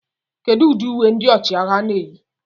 Kedu ụdị uwe ndị ọchịagha na-eyi